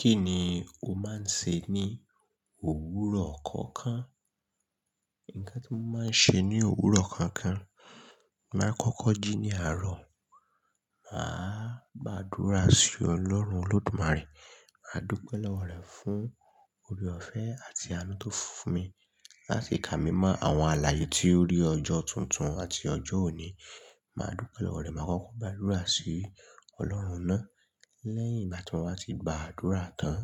Kí ni o máa ń ṣe ní òwúrọ̀ kọ̀ọ̀kan? Ǹkan tí mo máa ń ṣe ní òwúrọ̀ kankan, màá kọ́kọ́ jí ní àárọ̀. Mà á gba àdúrà sí Ọlọ́run Olódùmarè. Mà á dúpe pẹ̀lú Ọlọ́run fún oore ọ̀fẹ́ àti àánú tó fún mi, láti kà mí mọ́ àwọn àlàyé tí ó rí ọjọ́ tuntun àti ọjọ́ òní. Mà á dúpe lówó re, màá kọ́kọ́ gba àdúrà sí Ọlọ́run náà. Lẹ́yìn igbá ti wá tí gba àdúrà tán.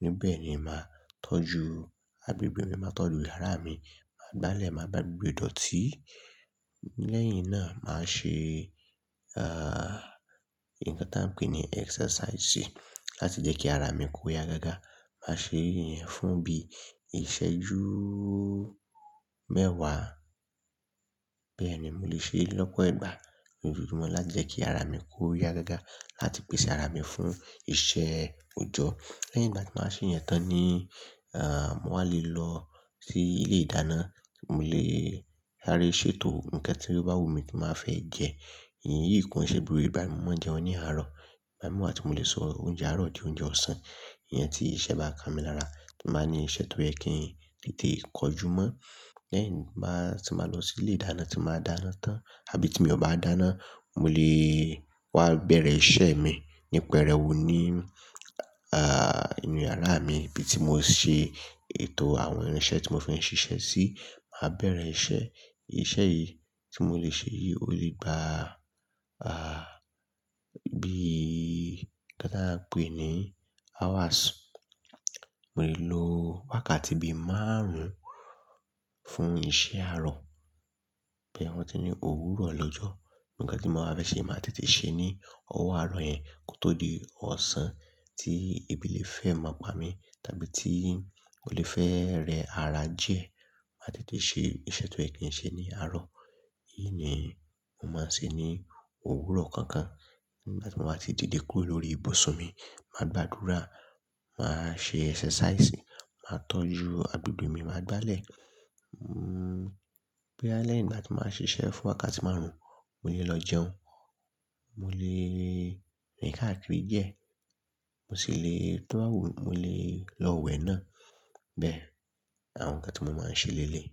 Ní bẹ̀ ni màá tọ́jú agbégbè mi, màá tọ́jú yara mi, màá gbálẹ̀, màá gbà gbogbo idọ̀tí. Lẹ́yìn náà, màá ṣe, ǹkan tí a ń pè ní exercise láti jẹ́ kí ara mi kó ya gágá. Màá ṣe ìyẹn fún bí iṣẹ́júù mẹ́wàá. Bẹ́ẹ̀ ni mo le ṣe lọ́pọ̀ ìgbà lójoojúmọ́ lá jẹ́ kí ara mi kó ya gágá, láti pèsè ara mi fún iṣẹ́ òjọ́. Lẹ́yìn ìgbà tí m bá wà ṣe ìyẹn tán ni, mo wa lè lọ sí ilé ìdáná. Mo lè sa re ṣètò ǹkan tí ó bá wù mí tí màá fẹ́ jẹ. Ìyí kò nṣe gbogbo ìgbà ni mo máa ń jẹùn ní àárọ̀. Ìgbámíì wà ti mo lè sọ oúnjẹ àárọ̀ di oúnjẹ ọ̀sán. Ìyẹn tí iṣẹ́ bá ka mi lára tí màá ní iṣẹ́ tó yẹ kí n tètè kojú mọ́. Lẹ́yìn tí màá lọ sí ilé ìdáná tí màá dáná tán, àbí tí mi ò bá dáná, mo lè wá bẹ̀rẹ̀ iṣẹ́ mi ní pẹrẹwu ní, ah, inú yàrá mi bí tí mo ṣe ètò àwọn irinṣẹ́ tí mo fẹ́ ń ṣiṣẹ́ sí. Màá bẹ̀rẹ̀ iṣẹ́. Iṣẹ́ yìí tí mo lè ṣe yìí, ó lè gba, ah, bí i ňkan ta ń pè é ní hours. Mo lè lo wákàtí bí i márùn-ún fún iṣẹ́ àárọ̀. Bóyá wọn tí ní òwúrọ̀ lọ́jọ́, ǹkan tí mo bá fẹ́ ṣe màá tètè ṣe ní ọwọ́ àárọ̀ yẹn kó tó di ọ̀sán tí ebí lẹ̀ fẹ́ máa pa mí, tàbí tí ọ́ lè fẹ́ rẹ ara diẹ. Màá tètè ṣe iṣẹ́ tó yẹ kí ń ṣe ní àárọ̀. Èyí ni mo máa ń ṣe ní òwúrọ̀ kankan. Nígbà tí mo bá ti dìde kúrò lórí ibùsùn mi, màá gba àdúrà, màá ṣe exercise, màá tọ́jú agbègbè mi, màá gbálẹ̀. Nnu, bóyá lẹ́yìn ígbà tí mbá ṣe iṣẹ́ fún wákàtí márùn-ún, mo lè lọ jẹun, mo lè rìn káàkiri jẹ. Mo sì le tó bá wù mí, mo lè lọ wẹ̀ náà. Bẹ́ẹ̀, àwọn ǹkan tí mo máa ń ṣe léléyi.